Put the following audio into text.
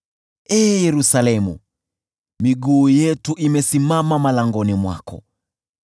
Ee Yerusalemu, miguu yetu imesimama malangoni mwako.